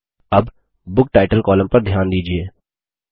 अब book title column पर ध्यान दीजिये